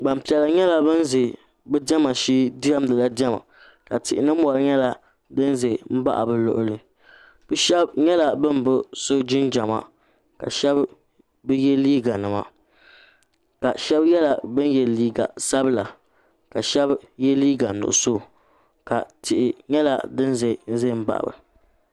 gbanpiɛla nyɛla bin ʒɛ bi diɛma shee diɛmdila bi diɛma ka tihi ni mori nyɛ din ʒɛ n baɣa bi luɣuli bi shab nyɛla bin bi so jinjɛma ka shab bi yɛ liiga nima shab nyɛla bin yɛ liiga sabila ka shab yɛ liiga nuɣso tihi nyɛla din ʒɛnʒɛ n baɣaba